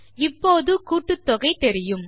இப்போது கூட்டுத்தொகை தெரியும்